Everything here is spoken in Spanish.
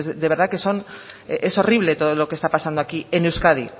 de verdad que es horrible todo lo que está pasando aquí en euskadi